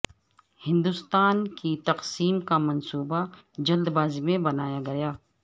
ہندوستان کی تقسیم کا منصوبہ جلد بازی میں بنایا گیا